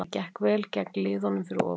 Það gekk vel gegn liðunum fyrir ofan.